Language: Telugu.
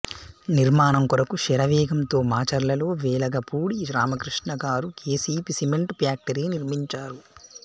నిర్మాణం కొరకు శరవేగంతో మాచర్లలో వెలగపూడి రామకృష్ణ గారు కెసిపి సిమెంట్ ప్యాక్టరీ నిర్మించారు